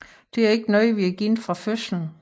Det er ikke noget vi er givet fra fødselen